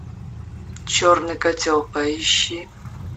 черный котел поищи